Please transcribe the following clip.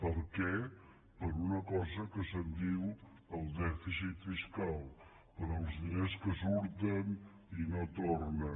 per què per una cosa que se’n diu el dèficit fiscal pels diners que surten i no tornen